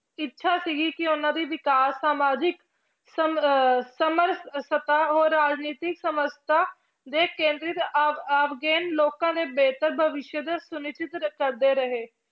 ਇੱਛਾ ਸੀਗੀ ਕੀ ਉਹਨਾਂ ਦੀ ਵਿਕਾਸ ਸਮਾਜਿਕ ਸਮਰ~ ਸਮਰਥਤਾ ਹੋਰ ਰਾਜਨੀਤਿਕ ਸਮਰਥਾ ਦੇ ਕੇਂਦਰਿਤ ਲੋਕਾਂ ਦੇ ਬਿਹਤਰ ਭਵਿਸ਼ ਦਾ ਕਰਦੇ ਰਹੇ।